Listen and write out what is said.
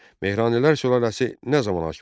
Mehranilər sülaləsi nə zaman hakimiyyətə gəldi?